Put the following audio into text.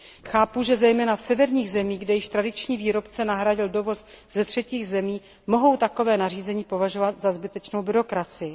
Chápu, že zejména v severních zemích, kde již tradiční výrobce nahradil dovoz ze třetích zemí, mohou takové nařízení považovat za zbytečnou byrokracii.